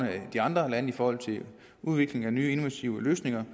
de andre lande i forhold til udvikling af nye innovative løsninger